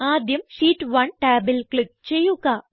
ആദ്യം ഷീറ്റ് 1 ടാബിൽ ക്ലിക്ക് ചെയ്യുക